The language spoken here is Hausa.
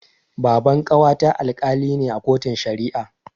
Baban ƙawata Alkali ne a kotun Shari'a.